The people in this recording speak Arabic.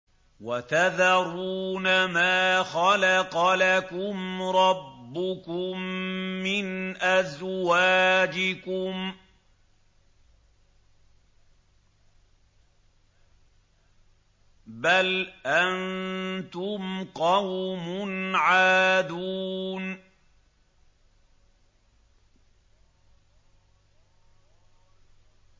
وَتَذَرُونَ مَا خَلَقَ لَكُمْ رَبُّكُم مِّنْ أَزْوَاجِكُم ۚ بَلْ أَنتُمْ قَوْمٌ عَادُونَ